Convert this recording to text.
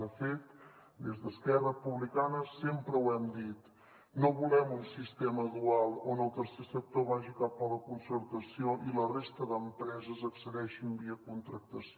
de fet des d’esquerra republicana sempre ho hem dit no volem un sistema dual on el tercer sector vagi cap a la concertació i la resta d’empreses hi accedeixin via contractació